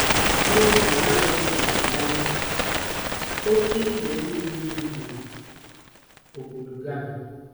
N'oge na-adịbeghị anya, oke idei mmiri mebiri obodo Ghana.